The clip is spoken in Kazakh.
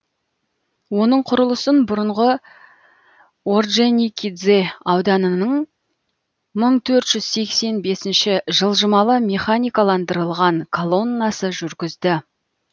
оның құрылысын бұрынғы ордженикидзе ауданының мың төрт жүз сексен бесінші жылжымалы механикаландырылған колоннасы жүргізді